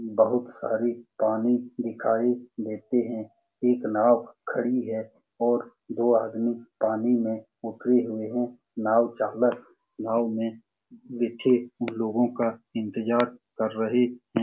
बहुत सारे पानी दिखाई देते हैं एक नाव खड़ी है और दो आदमी पानी में उतरे हुए हैं नाव चालक नाव में बैठे उन लोगों का इंतज़ार कर रहे हैं ।